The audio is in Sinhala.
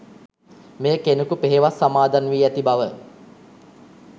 මෙය කෙනෙකු පෙහෙවස් සමාදන් වී ඇති බව